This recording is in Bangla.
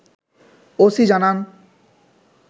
ওসি জানান